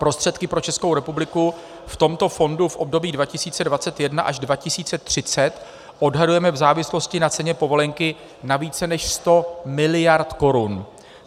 Prostředky pro Českou republiku v tomto fondu v období 2021 až 2030 odhadujeme v závislosti na ceně povolenky na více než 100 miliard korun.